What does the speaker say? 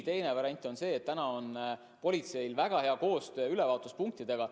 Teine variant on see, et politseil on väga hea koostöö ülevaatuspunktidega.